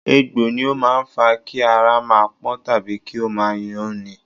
Egbò ni ó máa fa Kí ara máa pọ́n tàbí kí ó máa yún ni.